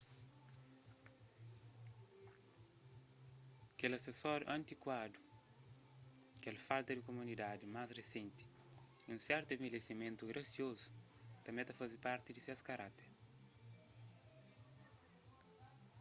kes asesóriu antikuadu kel falta di komodidadi más risenti y un sertu envelhesimentu grasiozu tanbê ta faze parti di ses karákter